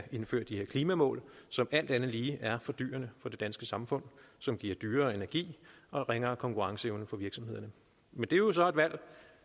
indføre de her klimamål som alt andet lige er fordyrende for det danske samfund som giver dyrere energi og ringere konkurrenceevne for virksomhederne men det er jo så et valg